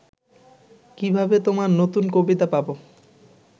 কিভাবে তোমার নতুন কবিতা পাবো